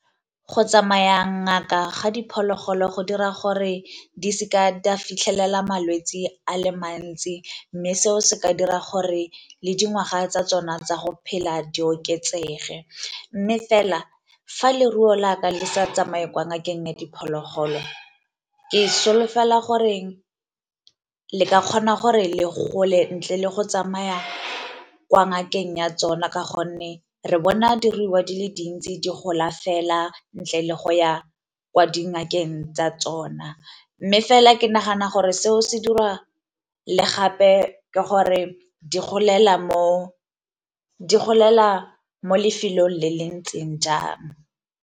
Go tsamaya ngaka ga diphologolo go dira gore di seka di a fitlhelela malwetsi a le mantsi, mme seo se ka dira gore le dingwaga tsa tsona tsa go phela di oketsege. Mme fela, fa leruo laka le sa tsamaye kwa ngakeng ya diphologolo ke solofela goreng le ka kgona gore le gole ntle le go tsamaya kwa ngakeng ya tsona, ka gonne re bona diruiwa di le dintsi di gola fela ntle le go ya kwa dingakeng tsa tsona. Mme fela ke nagana gore seo se dira le gape ke gore di golela mo lefelong le le ntseng jang.